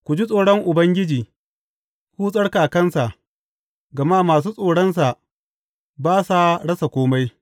Ku ji tsoron Ubangiji, ku tsarkakansa, gama masu tsoronsa ba sa rasa kome.